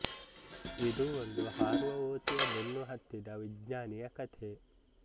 ಇದು ಒಂದು ಹಾರುವ ಓತಿಯ ಬೆನ್ನು ಹತ್ತಿದ ವಿಜ್ಞಾನಿಯ ಕಥೆ